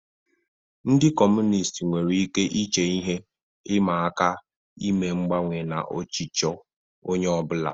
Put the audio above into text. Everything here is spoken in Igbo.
Ndị Kọmunist nwere ike iche ihe ịma aka ime mgbanwe na ọchịchọ onye ọ bụla.